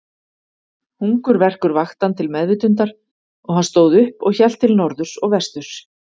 Hungurverkur vakti hann til meðvitundar og hann stóð upp og hélt til norðurs og vesturs.